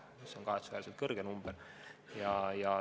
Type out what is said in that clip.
See on kahetsusväärselt suur number.